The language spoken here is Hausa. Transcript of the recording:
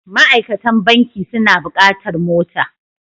Ma'aikatan banki suna buƙatar mota.